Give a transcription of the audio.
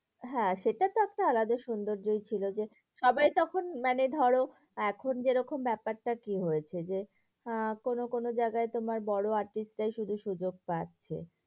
হ্যাঁ সেটা তো একটা আলাদা সুন্দর্যই ছিল যে, সবাই তখন মানে ধরো এখন যেরকম ব্যাপারটা কি হয়েছে? যে আহ কোনো কোনো জায়গায় তোমার বড়ো artist রাই শুধু সুযোগ পায়।